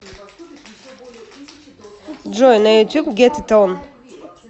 джой на ютюб гет ит он